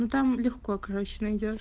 ну там легко короче найдёшь